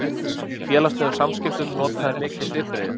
Í félagslegum samskiptum nota þeir mikið svipbrigði.